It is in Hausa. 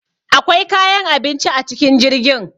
Akwai kayan abinci a cikin jirgin.